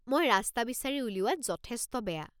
মই ৰাস্তা বিচাৰি উলিওৱাত যথেষ্ট বেয়া।